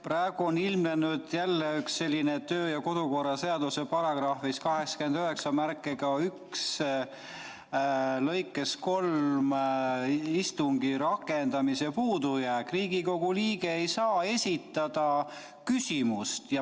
Praegu on ilmnenud jälle kodu- ja töökorra seaduse § 891 lõikest 3 tulenev istungi läbiviimise puudujääk: Riigikogu liige ei saa esitada küsimust.